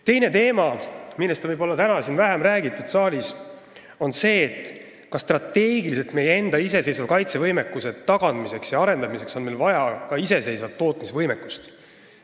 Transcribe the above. Teine teema, millest on täna siin saalis võib-olla vähem räägitud, on see, kas strateegiliselt on meil vaja meie enda iseseisva kaitsevõime tagamiseks ja arendamiseks ka iseseisvat tootmisvõimekust.